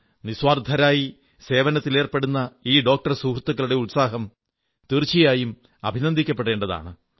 നിസ്വാർഥരായി സേവനത്തിലേർപ്പെടുന്ന ഈ ഡോക്ടർ സുഹൃത്തുക്കളുടെ ഉത്സാഹം തീർച്ചയായും അഭിനന്ദിക്കപ്പെടേണ്ടതാണ്